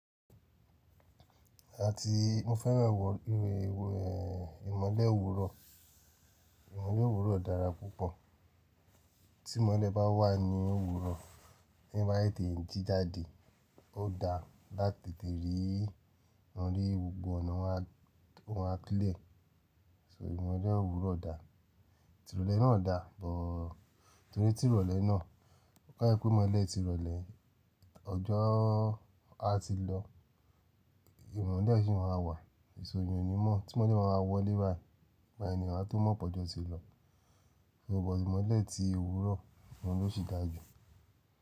Àti mo fẹ́ràn ẹnn ìmọ̀lẹ́ òwúrọ̀, ìmọ̀lẹ́ òwúrọ̀ dára púpọ̀. Tí ìmọ̀lẹ́ bá wà ní òwúrọ̀, tí èèyàn bá tètè jí jáde, ó da láti tètè rí gbogbo ọ̀nà ó ma clear so ìmọ̀lẹ́ òwúrọ̀ dà. Tirọlẹ́ náà dà, but torí tìrọlẹ́ náà, ó dá pé ìmọ́lẹ̀ tìrọlẹ́, ọjọ́ àti lọ, ìmọ́lẹ̀ síi máa wà so ìyàn ò ní mo tí ìmọ́lẹ̀ bá máa wọlé báyìí, ìgbà yẹn wá tó mo pé ọjọ́ ti lọ ṣùgbàn mọ́lẹ̀ ti òwúrọ̀ òun ló sì dá jù.